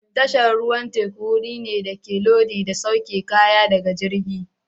Tashar ruwan teku wuri ne da ake lodi da sauke kaya daga jirgi.